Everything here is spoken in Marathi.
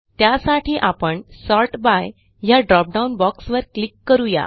त्यासाठी आपण सॉर्ट बाय ह्या ड्रॉपडाउन बॉक्स वर क्लिक करू या